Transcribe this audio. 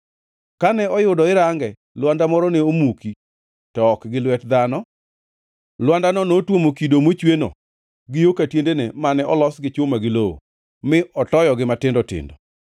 Kane oyudo irange, lwanda moro ne omuki, to ok gi lwet dhano. Lwandano notuomo kido mochweno gi yo ka tiendene mane olos gi chuma gi lowo, mi otoyogi matindo tindo.